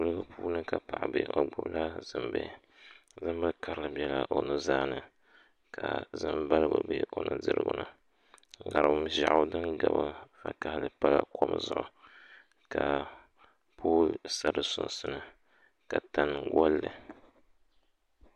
kuliga puuni ka paɣa be o gbubila zimbihi zimbil' karili bela o nuzaa ni ka zim' baligu be o nudirigu ni ŋariŋ ʒɛɣu din gabi vakahili pa kom zuɣu ka pooli sa di sunsuuni ka tani gɔli li